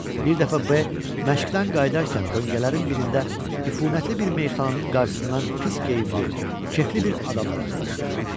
Bir dəfə B məşqdən qayıdarkən döngələrin birində üfunətli bir meyxananın qarşısından pis geyimli, kefli bir adama rastlaşır.